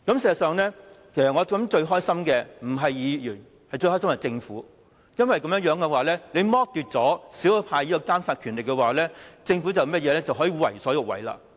事實上，我想最高興的不是議員而是政府，因為剝奪了少數派的監察權力，政府就可以為所欲為。